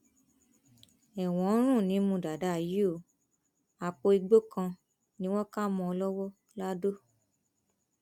ẹwọn ń rùn nímú dàdà yìí o àpò igbó kan ni wọn kà mọ ọn lọwọ ladọ